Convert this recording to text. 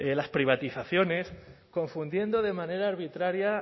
las privatizaciones confundiendo de manera arbitraria